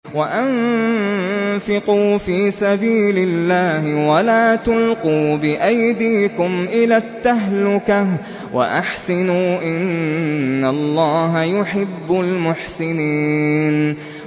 وَأَنفِقُوا فِي سَبِيلِ اللَّهِ وَلَا تُلْقُوا بِأَيْدِيكُمْ إِلَى التَّهْلُكَةِ ۛ وَأَحْسِنُوا ۛ إِنَّ اللَّهَ يُحِبُّ الْمُحْسِنِينَ